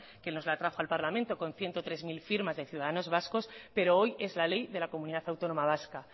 que nos la trajo al parlamento con ciento tres mil firmas de ciudadanos vascos pero hoy es la ley de la comunidad autónoma vasca